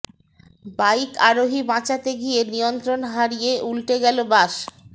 bike আরোহী বাঁচাতে গিয়ে নিয়ন্ত্রণ হারিয়ে উল্টে গেল বাস